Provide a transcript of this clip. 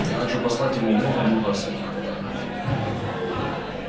я хочу послать ему много-много всяких фотографий